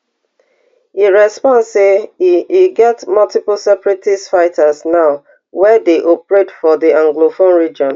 e respond say e e get multiple separatist fighters now wey dey operate for di anglophone region